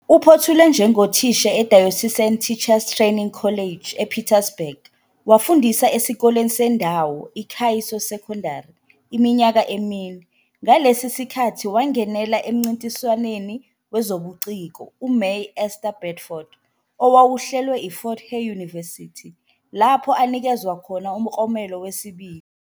Uphothule njengothisha e-Diocesan Teachers Training College ePietersburg wafundisa esikoleni sendawo, i-Khaiso Secondary, iminyaka emine. Ngalesi sikhathi wangenela emncintiswaneni wezobuciko, uMay Esther Bedford, owawuhlelwe I-Fort Hare University, lapho anikezwa khona umklomelo wesibili.